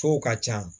Fo ka ca